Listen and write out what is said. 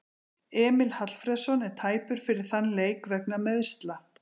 Emil Hallfreðsson er tæpur fyrir þann leik vegna meiðsla.